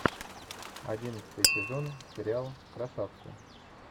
одиннадцатый сезон сериал красавцы